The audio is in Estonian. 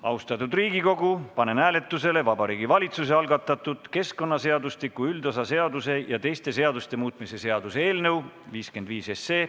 Austatud Riigikogu, panen hääletusele Vabariigi Valitsuse algatatud keskkonnaseadustiku üldosa seaduse ja teiste seaduste muutmise seaduse eelnõu 55.